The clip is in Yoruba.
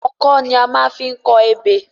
Ọkọ́ ni a maá fi n kọ ebè